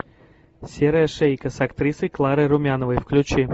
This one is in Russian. серая шейка с актрисой кларой румяновой включи